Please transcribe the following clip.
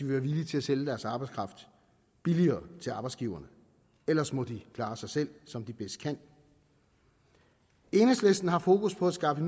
være villige til at sælge deres arbejdskraft billigere til arbejdsgiverne ellers må de klare sig selv som de bedst kan enhedslisten har fokus på at skaffe